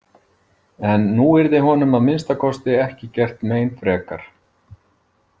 En nú yrði honum að minnsta kosti ekki gert mein frekar.